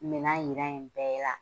Mina yira yen bɛɛ la.